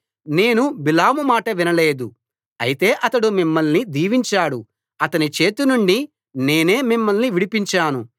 నేను బిలాము మాట వినలేదు అయితే అతడు మిమ్మల్ని దీవించాడు అతని చేతినుండి నేనే మిమ్మల్ని విడిపించాను